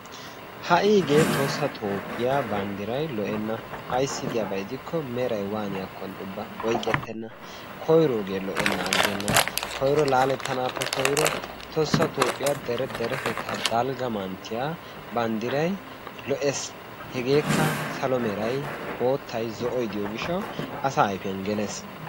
Ha'igee Tohossa Toophiyaa banddray lo''ena ayssi giyaba gidiko meray waaniyakkonne ubba oyqqettena koyrooge lo''ennan aggena. koyro laalettanappe koyro Tosa Toophiyaa Dere deretetta daigga manttiya banddray lo''ees. hegekka salo meray, boottay, zo'oy diyo gishshaw asaa ayfiyaan gelees.